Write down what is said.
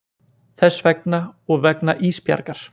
Þess vegna og vegna Ísbjargar.